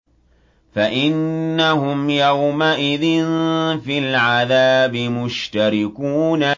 فَإِنَّهُمْ يَوْمَئِذٍ فِي الْعَذَابِ مُشْتَرِكُونَ